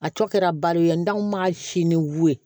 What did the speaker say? A tɔ kɛra bari ye ntanw ma si ni wili ye